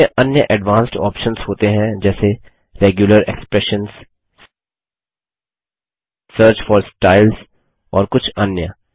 इसमें अन्य advanced options होते हैं जैसे regular expressions search for styles और कुछ अन्य